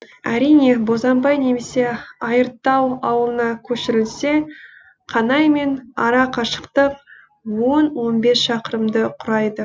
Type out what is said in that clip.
әрине бозанбай немесе айыртау ауылына көшірілсе қанаймен ара қашықтық он он бес шақырымды құрайды